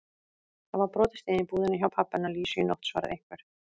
Það var brotist inn í búðina hjá pabba hennar Lísu í nótt svaraði einhver.